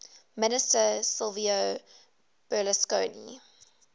minister silvio berlusconi